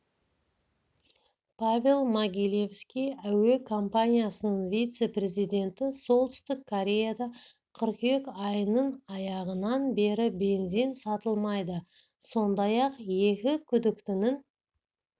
павел могилевский әуе компаниясының вице-президенті солтүстік кореяда қыркүйек айының аяғынан бері бензин сатылмайды сондай-ақ екі күдіктінің